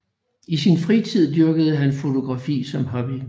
I sin fritid dyrkede han fotografi som hobby